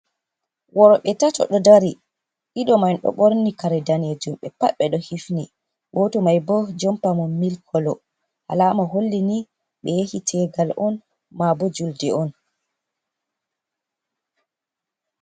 Worbe tato ɗo dari ɗiɗo man ɗo ɓorni kare danejum be pat ɓe ɗo hifni, goto maibo jompa mon mil kolo, halama hollini ɓe yahitegal on mabo julde on.